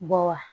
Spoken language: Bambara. Bɔ wa